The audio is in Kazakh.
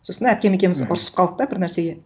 сосын әпкем екеуіміз ұрсысып қалдық та бір нәрсеге